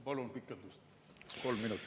Palun pikendust kolm minutit.